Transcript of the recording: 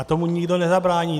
A tomu nikdo nezabrání.